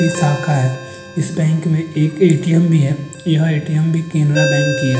ये शाखा है। इस बैंक में एक ए_टी_एम भी है। यह ए_टी_एम भी केनरा बैंक की है।